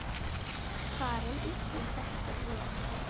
Farin illa þykir mér.